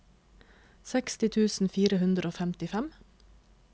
seksti tusen fire hundre og femtifem